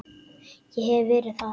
Ég hef verið þar.